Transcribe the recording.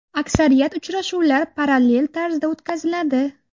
Aksariyat uchrashuvlar parallel tarzda o‘tkaziladi.